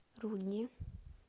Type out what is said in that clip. рудни